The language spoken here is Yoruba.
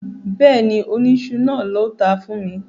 Bẹ́ẹ̀ni, oníṣu náà ló tàá fún mi